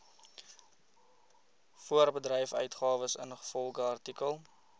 voorbedryfsuitgawes ingevolge artikel